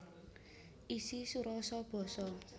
Isi surasa basa